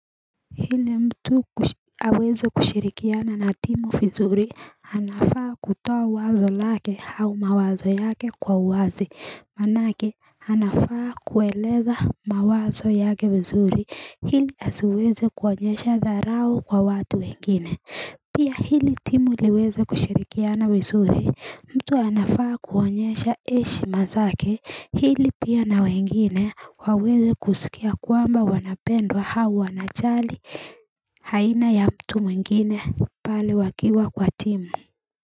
Ili mtu aweze kushirikiana na timu vizuri anafaa kutoa wazo lake au mawazo yake kwa uwazi manake anafaa kueleza mawazo yake vizuri. Ili asiweze kuonyesha dharau kwa watu wengine Pia ili timu iweze kushirikiana vizuri mtu anafaa kuonyesha heshima zake ili pia na wengine waweze kusikia kwamba wanapendwa au wanajali aina ya mtu mwingine pale wakiwa kwa timu.